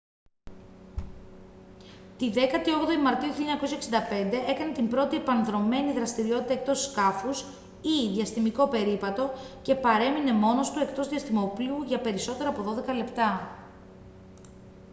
τη 18η μαρτίου 1965 έκανε την πρώτη επανδρωμένη δραστηριότητα εκτός σκάφους ή «διαστημικό περίπατο» και παρέμεινε μόνος του εκτός διαστημόπλοιου για περισσότερα από δώδεκα λεπτά